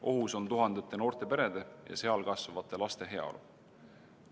Ohus on tuhandete noorte perede ja seal kasvavate laste heaolu.